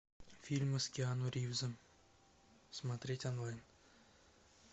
фильмы с киану ривзом смотреть онлайн